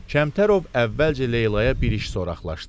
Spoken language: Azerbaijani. Kəmtərov əvvəlcə Leylaya bir iş soraqlaşdı.